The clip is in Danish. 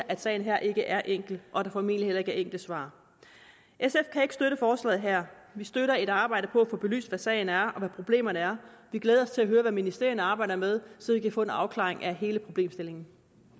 at sagen her ikke er enkel og at der formentlig heller ikke er enkle svar sf kan ikke støtte forslaget her vi støtter et arbejde på at få belyst hvad sagen er og hvad problemerne er vi glæder os til at høre hvad ministerierne arbejder med så vi kan få en afklaring af hele problemstillingen